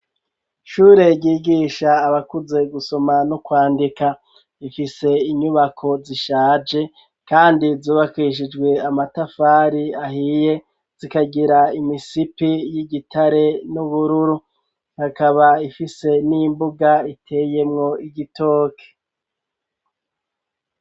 Shure yigisha abakuze gusoma no kwandika ifise inyubako zishaje, kandi zubakishijwe amatafari ahiye zikagira imisipi y'igitare n'ubururu hakaba ifise n'imbuga iteyemwo igitoke.